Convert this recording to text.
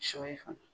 Sɔ ye fana